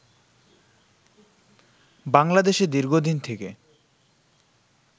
বাংলাদেশে দীর্ঘদিন থেকে